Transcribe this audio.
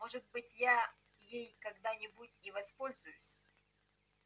может быть я ей когда-нибудь и воспользуюсь